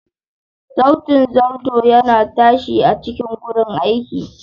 Sautin zarto yana ta tashi a cikin gurin aiki.